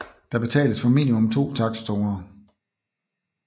Der betales for mimimum to takstzoner